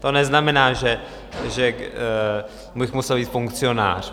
To neznamená, že bych musel být funkcionář.